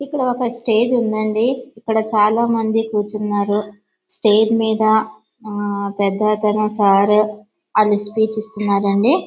ఇక్కడ ఒక స్టేజ్ ఉందండి. ఇక్కడ చాలామంది కూర్చున్నారు. స్టేజి మీద పెద్ద సారు స్పీచ్ ఈస్తున్నారండి.